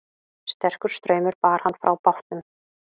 Sterkur straumur bar hann frá bátnum